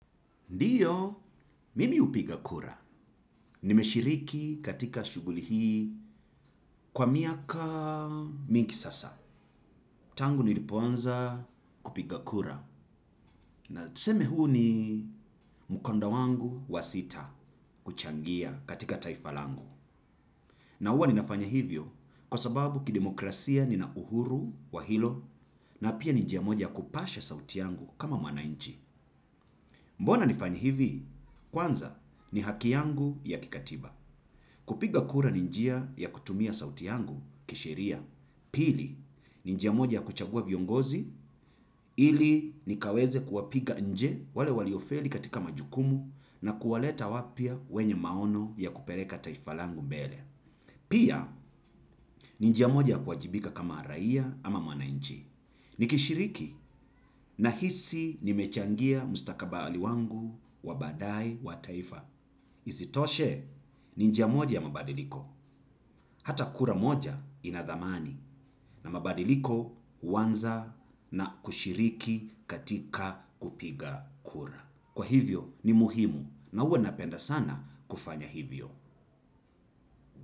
Ndiyo, mimi hupiga kura. Nimeshiriki katika shughuli hii kwa miaka mingi sasa. Tangu nilipoanza kupiga kura. Na tuseme huu ni mkanda wangu wa sita kuchangia katika taifa langu. Na huwa ninafanya hivyo kwa sababu ki demokrasia nina uhuru wa hilo na pia ni njia moja ya kupasha sauti yangu kama mwananchi. Mbona nifanye hivi? Kwanza ni haki yangu ya kikatiba. Kupiga kura ni njia ya kutumia sauti yangu kisheria. Pili, ni njia moja ya kuchagua viongozi ili nikaweze kuwapiga nje wale waliofeli katika majukumu na kuwaleta wapya wenye maono ya kupeleka taifa kangu mbele. Pia, ni njia moja kuwajibika kama raia ama mwananchi. Nikishiriki nahisi nimechangia mustakabali wangu wa baadaye wa taifa. Isitoshe, ni njia moja ya mabadiliko. Hata kura moja ina dhamani na mabadiliko huanza na kushiriki katika kupiga kura. Kwa hivyo, ni muhimu na huwa napenda sana kufanya hivyo.